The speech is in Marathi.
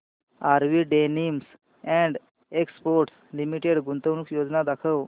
RV denims and exports limited गुंतवणूक योजना दाखव